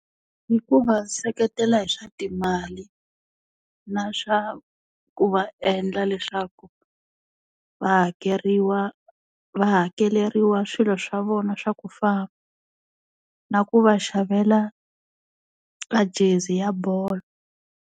Hi ku va seketela hi swa timali. Na swa ku va endla leswaku, va hakeriwa va hakeleriwa swilo swa vona swa ku . Na ku va xavela a gezi ya bolo.